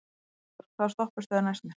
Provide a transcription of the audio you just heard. Hektor, hvaða stoppistöð er næst mér?